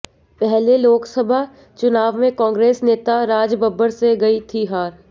पहले लोकसभा चुनाव में कांग्रेस नेता राजबब्बर से गई थीं हार